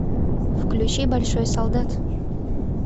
включи большой солдат